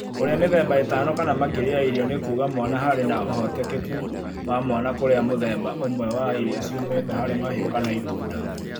Kũria mĩthemba ĩtano kana makĩria ya irio nĩ kuuga mwana harĩ na ũhotekeku wa mwana kũrĩa mũthemba ũmwe wa irio ciumĩte hari mahiũ kana itunda